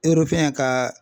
ka